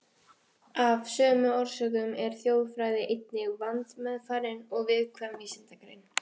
Af sömu orsökum er þjóðfræði einnig vandmeðfarin og viðkvæm vísindagrein.